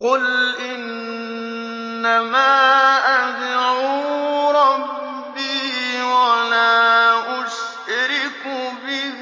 قُلْ إِنَّمَا أَدْعُو رَبِّي وَلَا أُشْرِكُ بِهِ